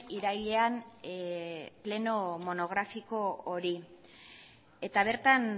irailean pleno monografiko hori eta bertan